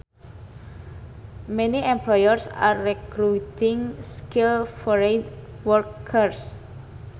Many employers are recruiting skilled foreign workers